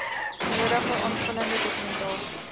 nodige aanvullende dokumentasie